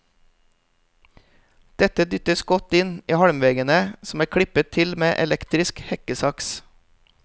Dette dyttes godt inn i halmveggene som er klippet til med elektrisk hekkesaks.